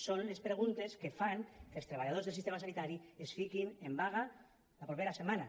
són les preguntes que fan que els treballadors del sistema sanitari es fiquin en vaga la propera setmana